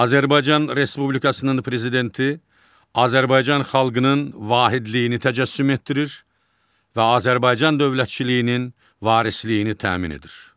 Azərbaycan Respublikasının prezidenti Azərbaycan xalqının vahidliyini təcəssüm etdirir və Azərbaycan dövlətçiliyinin varisliyini təmin edir.